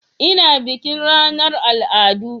Ina bikin ranar al'adu